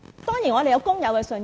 當然，我們有工友的信任。